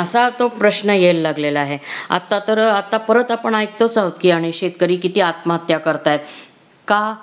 असा तो प्रश्न यायला लागलेला आहे आता तर आता परत आपण ऐकतोच आहोत की अनेक शेतकरी किती आत्महत्या करतायत का